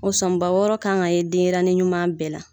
O sɔnba wɔɔrɔ kan ka ye denyɛrɛnin ɲuman bɛɛ la